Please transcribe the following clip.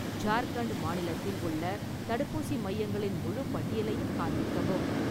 ஜார்க்கண்ட் மாநிலத்தில் உள்ள தடுப்பூசி மையங்களின் முழுப் பட்டியலையும் காண்பிக்கவும்